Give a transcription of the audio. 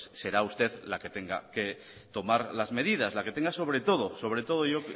pues será usted la que tenga que tomar las medidas la que tenga que